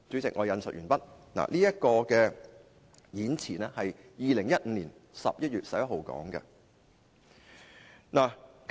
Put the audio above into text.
這份演辭是在2015年11月11日發表的。